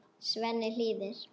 Svenni hlýðir.